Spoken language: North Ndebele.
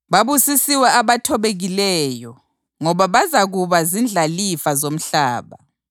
Babusisiwe abathobekileyo ngoba bazakuba zindlalifa zomhlaba.